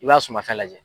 I b'a sumafɛn lajɛ